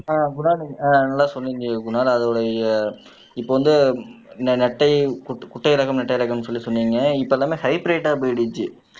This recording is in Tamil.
ஆஹ் குணால் நீங்க ஆஹ் நல்லா சொன்னீங்க குணால் அதோடைய இப்ப வந்து இந்த நெட்டை குட்டை குட்டை ரகம் நெட்டை ரகம்ன்னு சொல்லி சொன்னீங்க இப்ப எல்லாமே ஹைபிரிட் போயிடுச்சு